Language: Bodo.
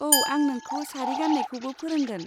औ, आं नोंखौ सारि गान्नायखौबो फोरोंगोन।